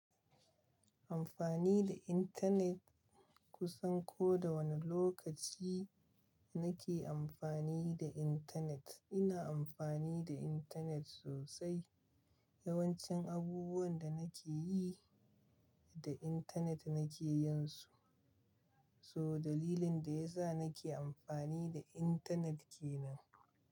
Amfani da internet, kusan ko da wane lokaci nake amfani da internet. Ina amfani da internet sosai. Yawancin abubuwan da nake yi, da internet nake yinsu. So dalilin da yasa nake amfani da internet kenan.